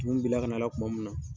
bila ka n'a la tuma min na.